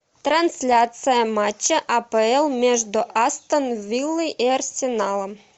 трансляция матча апл между астон виллой и арсеналом